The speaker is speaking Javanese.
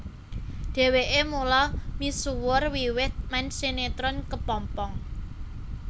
Dheweke mulai misuwur wiwit main sinetron Kepompong